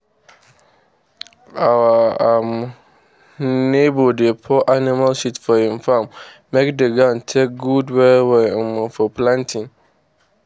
our um neighbour dey pour animal shit for im farm make d ground take good well well um for planting